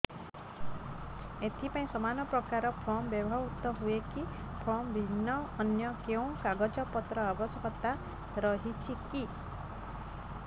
ଏଥିପାଇଁ ସମାନପ୍ରକାର ଫର୍ମ ବ୍ୟବହୃତ ହୂଏକି ଫର୍ମ ଭିନ୍ନ ଅନ୍ୟ କେଉଁ କାଗଜପତ୍ରର ଆବଶ୍ୟକତା ରହିଛିକି